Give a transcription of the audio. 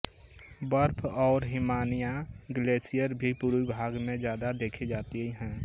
बर्फ़ और हिमानियाँ ग्लेशियर भी पूर्वी भाग में ज़्यादा देखी जाती हैं